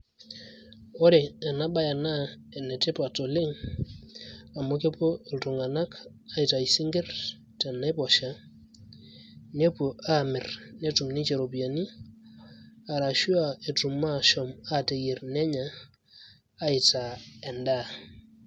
ore ena baye naa enetipat oleng amu kepuo iltung`anak aitayu isinkirr tenaiposha nepuo aamirr netum ninche ropiyiani arashu a etum ashom aateyierr nenya aitaa endaa.